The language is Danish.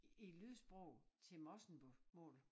I lydsprog til morsingbomål